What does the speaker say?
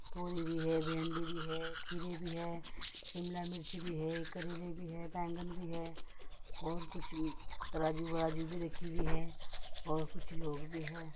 तोरी भी है भिंडी भी है खीरे भी है शिमला मिर्ची भी है करेले भी है बैगन भी है और कुछ तराजू वराजू भी रखी हुई है और कुछ लोग भी हैं।